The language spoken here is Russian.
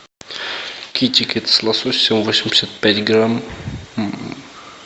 китикет с лососем восемьдесят пять грамм